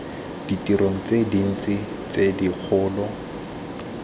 ditirong tse dintsi tse dikgolo